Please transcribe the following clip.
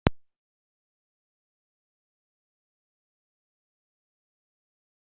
Erla Björg: Hvert erum við að tala um?